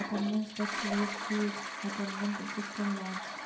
attendance touch less face attendance system launch